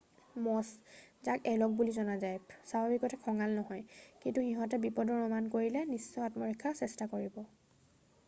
মছ যাক এলক বুলিও জনা যায় স্বাভাৱিকতে খঙাল নহয় কিন্তু সিহঁতে বিপদৰ অনুমান কৰিলে নিশ্চয় আত্মৰক্ষাৰ চেষ্টা কৰিব।